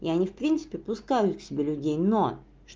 я не в принципе пускают к себе людей но